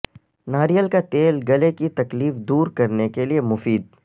ناریل کا تیل گلے کی تکلیف دور کرنے کے لیے مفید